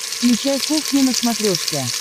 включай кухня на смотрешке